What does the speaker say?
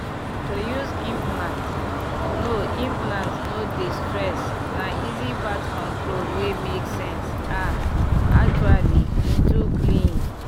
to use implant no implant no dey stress na easy birth control wey make sense ah actually e too clean